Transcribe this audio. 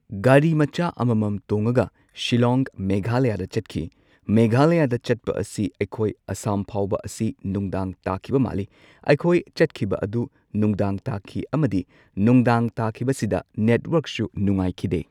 ꯒꯥꯔꯤ ꯃꯆꯥ ꯑꯃꯃꯝ ꯇꯣꯡꯉꯒ ꯁꯤꯜꯂꯣꯡ ꯃꯦꯘꯥꯂꯌꯥꯗ ꯆꯠꯈꯤ꯫ ꯃꯦꯘꯥꯂꯌꯥꯗ ꯆꯠꯄ ꯑꯁꯤ ꯑꯩꯈꯣꯏ ꯑꯁꯥꯝ ꯐꯥꯎꯕ ꯑꯁꯤ ꯅꯨꯡꯗꯥꯡ ꯇꯥꯈꯤꯕ ꯃꯥꯜꯂꯤ꯫ ꯑꯩꯈꯣꯏ ꯆꯠꯈꯤꯕ ꯑꯗꯨ ꯅꯨꯡꯗꯥꯡ ꯇꯥꯈꯤ ꯑꯃꯗꯤ ꯅꯨꯡꯗꯥꯡ ꯇꯥꯈꯤꯕꯁꯤꯗ ꯅꯦꯠꯋꯔꯛꯁꯨ ꯅꯨꯉꯥꯏꯈꯤꯗꯦ꯫